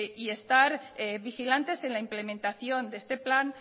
y estar vigilantes en la implementación de este plan